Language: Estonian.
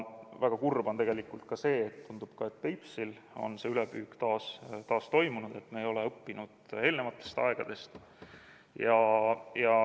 Väga kurb on tegelikult ka see, et tundub, et ka Peipsil on see ülepüük taas toimunud, et me ei ole õppinud eelnevatest aegadest.